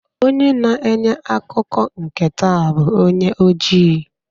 Onye na-enye ntaakụkọ nke taa bụ onye ojii